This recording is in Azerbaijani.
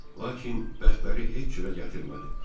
Lakin bəxtləri heç cürə gətirmədi.